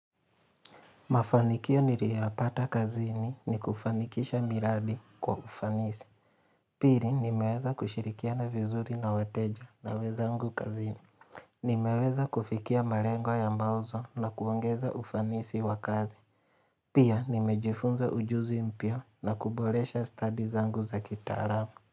Mafanikio niliyapata kazini ni kufanikisha miradi kwa ufanisi Pili nimeweza kushirikiana vizuri na wateja na wenzangu kazini Nimeweza kufikia malengo ya mauzo na kuongeza ufanisi wa kazi Pia nimejifunza ujuzi mpya na kuboresha stadi zangu za kitaalamu.